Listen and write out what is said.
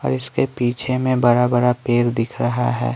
और इसके पीछे में बड़ा-बड़ा पैर दिख रहा है।